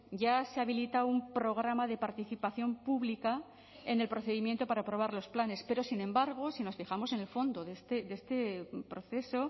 ya se habilita un programa de participación pública en el procedimiento para aprobar los planes pero sin embargo si nos fijamos en el fondo de este proceso